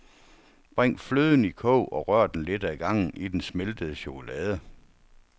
Bring fløden i kog og rør den lidt ad gangen i den smeltede chokolade.